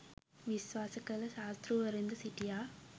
විශ්වාස කළ ශාස්තෘවරුන්ද සිටියා.